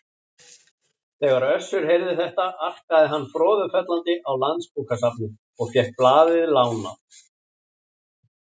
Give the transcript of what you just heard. Þegar Össur heyrði þetta arkaði hann froðufellandi á Landsbókasafnið og fékk blaðið lánað.